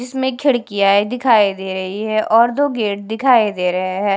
इसमें खिड़कियाय दिखाई दे रहीं हैं और दो गेट दिखाई दे रहें हैं।